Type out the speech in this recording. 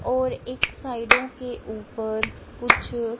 और एक साइडों के ऊपर कुछ--